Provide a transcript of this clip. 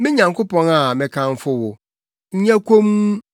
Me Nyankopɔn a mekamfo wo, nyɛ komm,